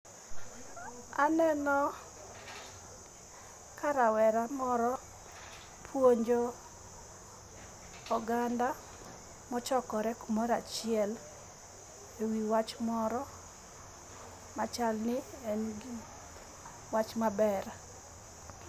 Aneno ka rawera moro puonjo oganda mochokore kumoro achiel ewi wach moro machalni en wach maber.